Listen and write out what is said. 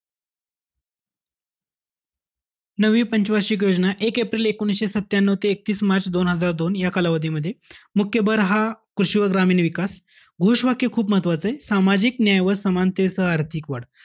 नववी पंच वार्षिक योजना, एक एप्रिल एकोणीशे सत्यान्यू ते एकतीस मार्च दोन हजार दोन, या कालावधीमध्ये. मुख्य भर हा, कृषी व ग्रामीण विकास. घोष वाक्य खूप महत्वाचंय. सामाजिक न्याय व समानतेसह आर्थिक वाढ.